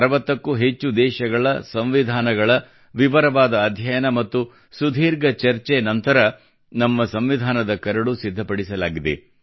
60ಕ್ಕೂ ಹೆಚ್ಚು ದೇಶಗಳ ಸಂವಿಧಾನಗಳ ವಿವರವಾದ ಅಧ್ಯಯನ ಮತ್ತು ಸುದೀರ್ಘ ಚರ್ಚೆ ನಂತರ ನಮ್ಮ ಸಂವಿಧಾನದ ಕರಡು ಸಿದ್ಧಪಡಿಸಲಾಗಿದೆ